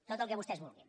tot el que vostès vulguin